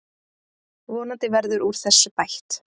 Vonandi verður úr þessu bætt.